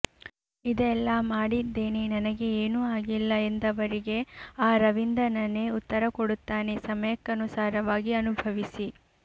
ಇದೆಲ್ಲಾ ಮಾಡಿದ್ದೇನೆ ನನಗೆ ಏನೂ ಆಗಿಲ್ಲ ಎಂದವರಿಗೆ ಆ ರವಿನಂದನನೇ ಉತ್ತರ ಕೊಡುತ್ತಾನೆ ಸಮಯಕ್ಕನುಸಾರವಾಗಿ ಅನುಭವಿಸಿ